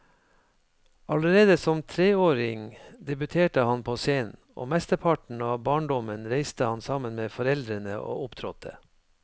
Allerede som treåring debuterte han på scenen, og mesteparten av barndommen reiste han sammen med foreldrene og opptrådte.